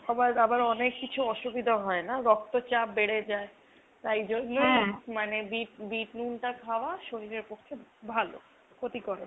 সবার আবার অনেক কিছু অসুবিধা হয় না রক্তচাপ বেড়ে যায়। তাই জন্য মানে বিট বিটনুনটা খাওয়া শরীরের পক্ষে ভালো নয় ক্ষতিকর ।